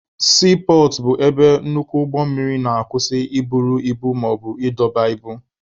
Siipọọtụ bụ ebe nnukwu ụgbọ mmiri na-akwusị i buru ibu maọbụ ịdọba ibu.